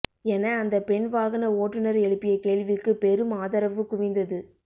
என அந்தப் பெண் வாகன ஓட்டுநர் எழுப்பிய கேள்விக்கு பெரும் ஆதரவு குவிந்தது